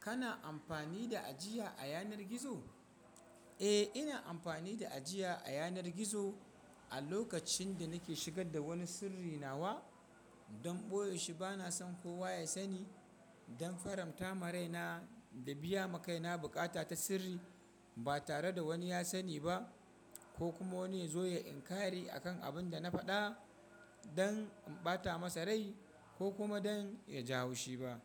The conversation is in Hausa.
Kana amfani da ajiya a yanar gizo? Eh, ina amfani da ajiya a yanar gizo a lokacin da nake shigar da wani sirri nawa don ɓoye shi bana son kowa ya sani don faranta maraina da biya makaina bukata ta sirri ba tare da wani ya sani ba ko kuma wani ya zo ya inkari akan abin da na faɗa don in ɓata masa rai ko kuma don ya jawo shi ba.